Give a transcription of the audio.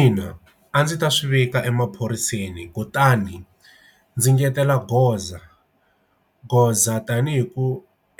Ina, a ndzi ta swivika emaphoriseni kutani ndzi ngetela goza goza tanihi ku